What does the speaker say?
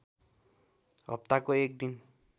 हप्ताको एक दिन